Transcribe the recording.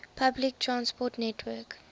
public transport network